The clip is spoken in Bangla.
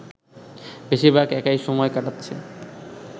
বেশিরভাগ একাই সময় কাটাচ্ছেন